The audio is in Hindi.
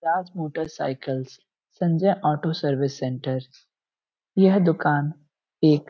राज motorcycles Sanjay auto service centre यह दुकान एक --